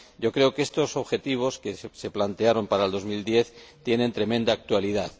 Creo que estos objetivos que se plantearon para el 2010 tienen tremenda actualidad.